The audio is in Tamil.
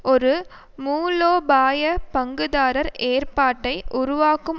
ஒரு மூலோபாய பங்குதாரர் ஏற்பாட்டை உருவாக்கும்